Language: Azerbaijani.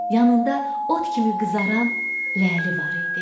Yanında ot kimi qızaran ləli var idi.